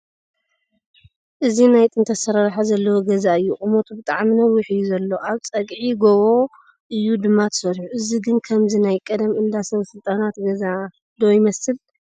እዚ ናይ ጥንቲ ኣሰራርሓ ዘለዎ ገዛ እዩ ቑመቱ ብጣዕሚ ነዊሕ እዩ ዘሎ ኣብ ፀግዒ ጎቦ እዩ ድማ ተሰሪሑ ፡ እዚ ግን ከምዚ ናይ ቐደም እንዳ ሰበ ስልጣናት ገዛ ' ዶ ይመስል ?